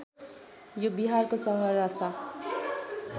यो बिहारको सहरसा